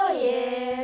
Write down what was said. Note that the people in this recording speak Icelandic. ég